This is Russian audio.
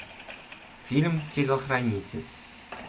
фильм телохранитель